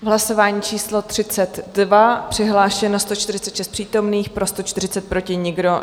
Hlasování číslo 32, přihlášeno 146 přítomných, pro 140, proti nikdo.